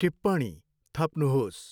टिप्पणी थप्नुहोस्।